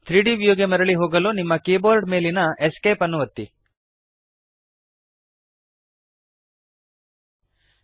3ದ್ ವ್ಯೂ ಗೆ ಮರಳಿ ಹೋಗಲು ನಿಮ್ಮ ಕೀಬೋರ್ಡ್ ಮೇಲಿನ ESC ಅನ್ನು ಒತ್ತಿರಿ